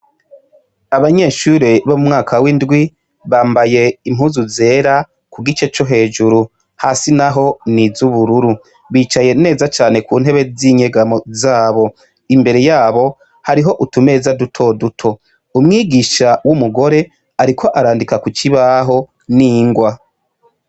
Abanyeshure bo mu mwaka windwi bambaye impuzu zera kugice co hejuru hasi naho n'izubururu bicaye neza cane kuntebe zinyegamo zabo imbere yabo hariho utumeza duto duto umwigisha wumugore ariko arandika kukibaho ningwa.